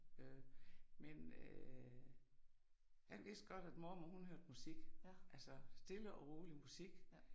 Øh men øh han vidste godt at mormor hun hørte musik altså stille og roligt musik